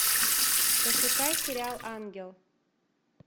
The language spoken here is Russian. пошукай сериал ангел